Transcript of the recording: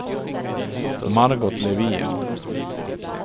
Margot Levin